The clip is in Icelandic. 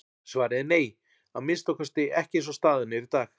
Svarið er nei, að minnsta kosti ekki eins og staðan er í dag.